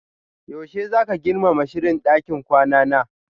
Yaushe zaka girmama sirrin ɗakin kwana na?